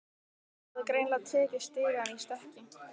Hafði greinilega tekið stigann í stökki.